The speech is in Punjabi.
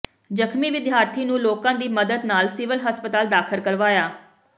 ਜ਼ਖ਼ਮੀ ਵਿਦਿਆਰਥੀ ਨੂੰ ਲੋਕਾਂ ਦੀ ਮਦਦ ਨਾਲ ਸਿਵਲ ਹਸਪਤਾਲ ਦਾਖ਼ਲ ਕਰਵਾਇਆ